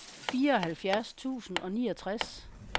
fireoghalvfjerds tusind og niogtres